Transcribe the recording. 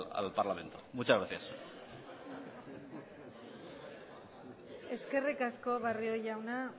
al parlamento muchas gracias eskerrik asko barrio jauna